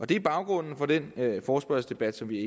det er baggrunden for den forespørgselsdebat som vi